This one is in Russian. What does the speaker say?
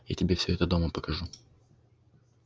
я тебе всё это дома покажу